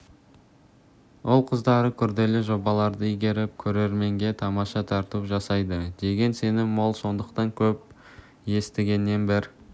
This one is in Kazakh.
ұл-қыздары күрделі жобаларды игеріп көрерменге тамаша тарту жасайды деген сенім мол сондықтан көп естігеннен бір